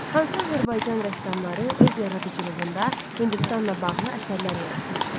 Hansı Azərbaycan rəssamları öz yaradıcılığında Hindistanla bağlı əsərlər yaratmışdı?